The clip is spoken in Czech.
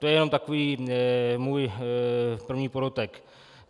To je jen takový můj první podotek.